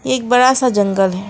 एक बड़ा सा जंगल है।